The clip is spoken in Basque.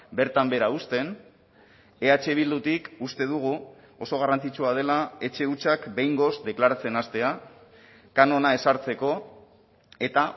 bertan behera uzten eh bildutik uste dugu oso garrantzitsua dela etxe hutsak behingoz deklaratzen hastea kanona ezartzeko eta